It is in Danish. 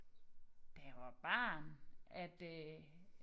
Da jeg var barn at øh